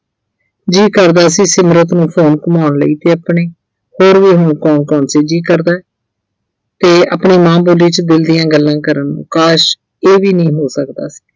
ਜੀਅ ਕਰਦਾ ਸੀ ਸਿਮਰਤ ਨੂੰ phone ਘੁੰਮਾਉਣ ਲਈ ਤੇ ਆਪਣੇ ਜੀਅ ਕਰਦੈ ਤੇ ਆਪਣੀ ਮਾਂ ਬੋਲੀ 'ਚ ਦਿਲ ਦੀਆਂ ਗੱਲਾਂ ਕਰਨ ਨੂੰ ਕਾਸ਼, ਇਹ ਵੀ ਨਹੀਂ ਹੋ ਸਕਦਾ ਸੀ।